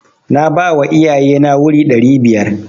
Na bawa iyaye na wuri ɗari biyar.